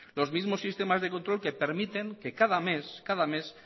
los mismos sistemas de control que permiten que cada mes